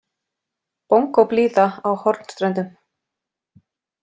Bongóblíða á Hornströndum.